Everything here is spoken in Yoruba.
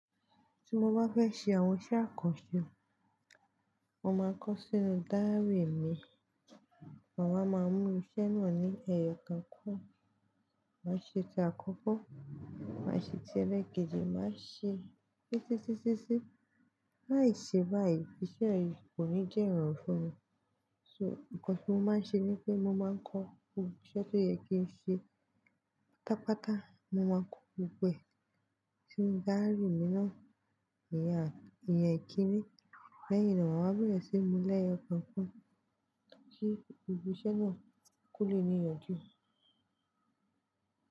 Tí mo bá fẹ́ ṣe àwọn iṣẹ́ àkànṣe, mo máa ń kọ sínú dáírì mi. Maa wa máa mú iṣẹ́ náà ní ẹyọ kan kan, màá ṣe ti àkọ́kọ́, màá ṣe ti ẹlẹ́ẹ̀kejì, màá ṣe sí sí sí sí. Láì ṣe báyìí, iṣẹ́ yìí kò ní jẹ́ ìrọ̀rùn fún mi. So, nǹkan tí mo máa ń ṣe ni pé mo máa ń kọ gbo iṣẹ́ tó yẹ kí n ṣe pátápátá. Mo máa ń kọ gbogbo e sínu dáírì mi náà, ìyẹn, ìyẹn ikìní. Leyin iyen mà wá bẹ̀rẹ̀ sí mú lẹ́yọ̀ kan kan kí gbogbo iṣẹ́ náà ko lé níyànjú.